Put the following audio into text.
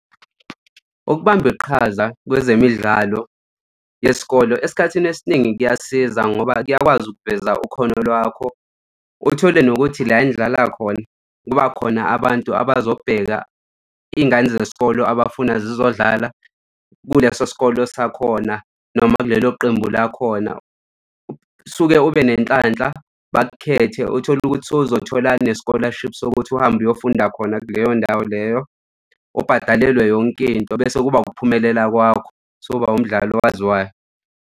Ukubamba iqhaza kwezemidlalo yesikolo esikhathini esiningi kuyasiza ngoba kuyakwazi ukuveza ikhono lwakho. Uthole nokuthi la enidlala khona kuba khona abantu abazobheka iy'ngane zesikolo abafuna zizodlala kuleso sikolo sakhona noma kulelo qembu lakhona suke ube nenhlanhla bakukhethe uthole ukuthi sowuzothola ne-scholarship sokuthi uhambe uyofunda khona kuleyo ndawo leyo ubhadalelwe yonke into bese kuba ukuphumelela kwakho sowuba umdlali owaziwayo.